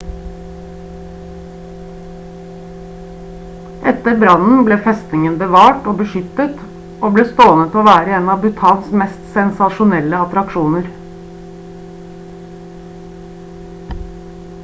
etter brannen ble festningen bevart og beskyttet og ble stående til å være en av bhutan mest sensasjonelle attraksjoner